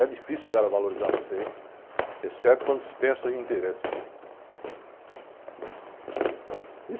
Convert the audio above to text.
É difícil os caras valorizarem você, exceto quando se pensa em interesses.